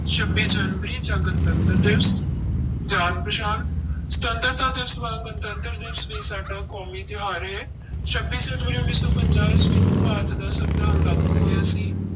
ਛੱਬੀ ਜਨਵਰੀ ਜਾਂ ਗਣਤੰਤਰ ਦਿਵਸ, ਜਾਣ ਪਛਾਣ ਸੁਤੰਤਰਤਾ ਦਿਵਸ ਵਾਂਗ ਗਣਤੰਤਰ ਦਿਵਸ ਵੀ ਸਾਡਾ ਕੌਮੀ ਤਿਉਹਾਰ ਹੈ ਛੱਬੀ ਜਨਵਰੀ ਉੱਨੀ ਸੌ ਪੰਜਾਹ ਈਸਵੀ ਨੂੰ ਭਾਰਤ ਦਾ ਸੰਵਿਧਾਨ ਲਾਗੂ ਹੋਇਆ ਸੀ।